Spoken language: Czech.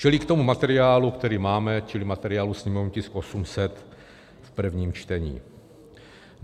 Čili k tomu materiálu, který máme, čili materiálu sněmovní tisk 800 v prvním čtení.